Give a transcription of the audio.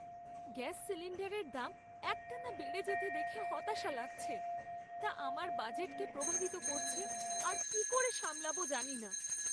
Gas সিলিণ্ডারের দাম একটানা বেড়ে যেতে দেখে হতাশা লাগছে। তা আমার বাজেটকে প্রভাবিত করছে আর কী করে সামলাবো জানি না।